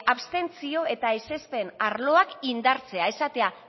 abstentzio eta ezezpen arloak indartzea esatea